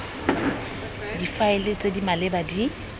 difaele tse di maleba di